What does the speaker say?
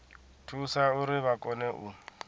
thusa uri vha kone u